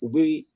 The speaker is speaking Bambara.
U bɛ